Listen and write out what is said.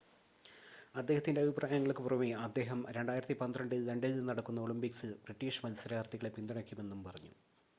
അദ്ദേഹത്തിൻ്റെ അഭിപ്രായങ്ങൾക്ക് പുറമേ അദ്ദേഹം 2012 ൽ ലണ്ടനിൽ നടക്കുന്ന ഒളിമ്പിക്സിൽ ബ്രിട്ടീഷ് മത്സരാർത്ഥികളെ പിന്തുണക്കുമെന്നും പറഞ്ഞു